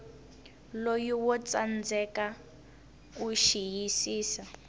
loko wo tsandzeka ku xiyisisa